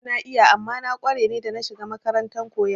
Dama na iya amma na kware ne da na shiga makarantar koyon zane